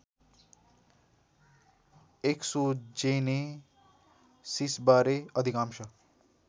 एक्सोजेनेसिसबारे अधिकांश